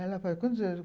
Ela falou, quantos?